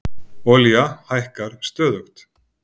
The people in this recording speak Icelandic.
Olía hækkar stöðugt